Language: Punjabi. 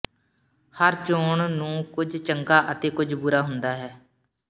ਹਰ ਚੋਣ ਨੂੰ ਕੁਝ ਚੰਗਾ ਅਤੇ ਕੁਝ ਬੁਰਾ ਹੁੰਦਾ ਹੈ